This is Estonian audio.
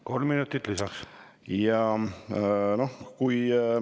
Kolm minutit lisaks.